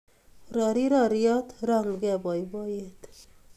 Roriw roriot, rongukei boiboiyet